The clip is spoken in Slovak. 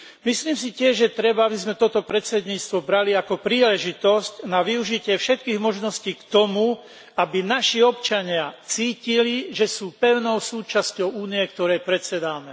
Myslím si tiež, že treba, aby sme toto predsedníctvo brali ako príležitosť na využitie všetkých možností k tomu, aby naši občania cítili, že sú pevnou súčasťou Únie, ktorej predsedáme.